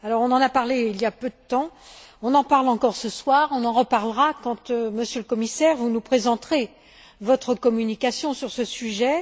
On en a parlé il y a peu de temps, on en parle encore ce soir, on en reparlera quand, Monsieur le Commissaire, vous nous présenterez votre communication sur ce sujet.